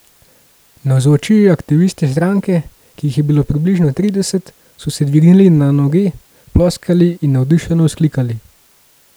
Navzoči aktivisti stranke, ki jih je bilo približno trideset, so se dvignili na noge, ploskali in navdušeno vzklikali.